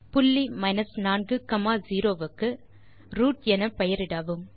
புள்ளி 4 0 க்கு ரூட் என பெயரிடவும்